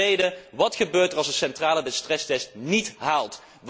En ten tweede wat gebeurt er als een kerncentrale de stresstest niet haalt?